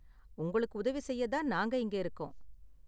உங்களுக்கு உதவி செய்ய தான் நாங்க இங்க இருக்கோம்.